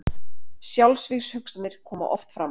Sjálfsvígshugsanir koma oft fram.